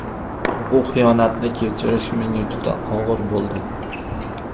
Bu xiyonatni kechirish menga juda og‘ir bo‘ldi.